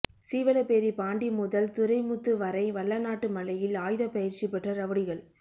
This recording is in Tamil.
சீவலப்பேரி பாண்டி முதல் துரை முத்து வரை வல்லநாட்டு மலையில் ஆயுதப்பயிற்சி பெற்ற ரவுடிகள்